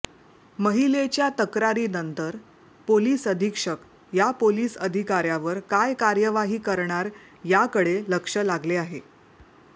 महिलेच्या तक्रारीनंतर पोलीस अधिक्षक या पोलीस अधिकाऱ्यावर काय कार्यवाही करणार याकडे लक्ष लागले आहे